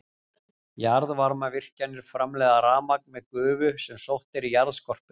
Jarðvarmavirkjanir framleiða rafmagn með gufu sem sótt er í jarðskorpuna.